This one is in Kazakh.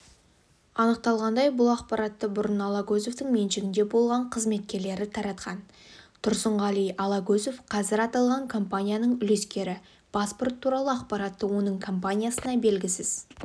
анықталғандай бұл ақпаратты бұрын алагөзовтың меншігінде болған қызметкерлері таратқан тұрсынғали алагөзов қазір аталған компанияның үлескері паспорт туралы ақпаратты оның компаниясына белгісіз